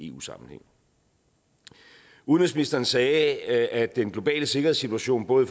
eu sammenhæng udenrigsministeren sagde at den globale sikkerhedssituation både